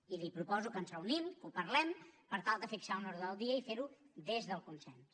i li proposo que ens reunim que ho parlem per tal de fixar un ordre del dia i ferho des del consens